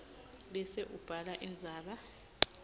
bese ubhala indzaba